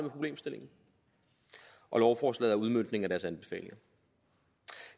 problemstillingen og lovforslaget udmøntning af deres anbefalinger